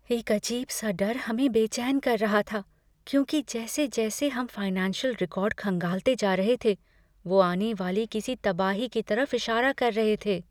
एक अजीब सा डर हमें बेचैन कर रहा था, क्योंकि जैसे जैसे हम फाइनेंशियल रिकॉर्ड खंगालते जा रहे थे, वो आने वाली किसी तबाही की तरफ इशारा कर रहे थे।